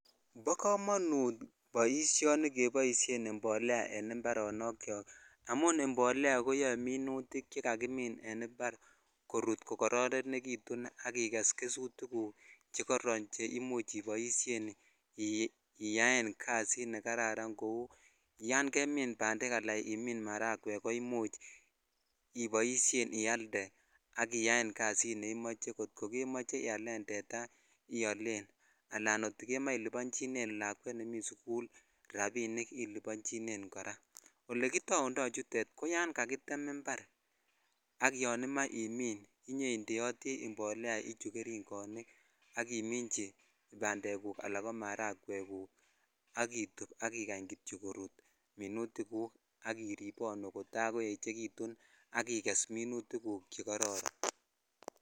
Bo komonut boisioni ni keboisien imolea en imbaronok chok amun imbolea koyoe minutik che jakimin en impar ko kororonekitun ak iges kesut guk che koron che imuch iyaen kasit nekararan kou yan kemin maragwek alan ko bandek ko imuch iboishen ialde ak iyaen kasit neimoch kot ko kemoche ialen tetaa iolen alan kot ko kemoche ilibonchinen lakwet nemi suku labinik ilibonchinen koraa ole kitaundo chuton ko yan kakotem impar ak yon omoe imin inyoindeoti imbolea ichu geringonik ak imichi pandeguk ala ko maragwek ak itub ak ikany kityok korut minutik guk ak iriponu kotakoechekitun ak iges minutikguk chekororon.